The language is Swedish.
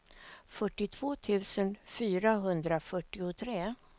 fyrtiotvå tusen fyrahundrafyrtiotre